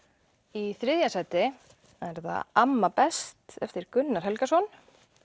í þriðja sæti er það amma best eftir Gunnar Helgason